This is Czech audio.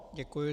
Děkuji.